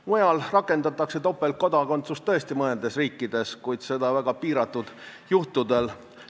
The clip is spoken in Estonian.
Mujal rakendatakse topeltkodakondsust tõesti mõnes riigis, kuid seda väga piiratud juhtudel.